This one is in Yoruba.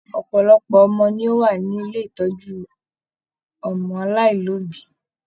Ọpọlọpọ ọmọ ni o wà ní ilé ìtọjú ọmọ aláìlobi.